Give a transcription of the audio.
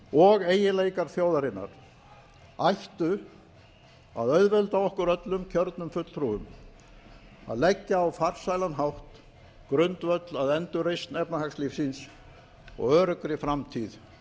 og eiginleikar þjóðarinnar ættu að auðvelda okkur öllum kjörnum fulltrúum að leggja á farsælan hátt grundvöll að endurreisn efnahagslífsins og öruggri framtíð